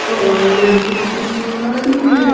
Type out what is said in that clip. अरे कुछ कुछ सामान भी है ।